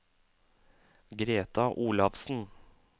Greta Olafsen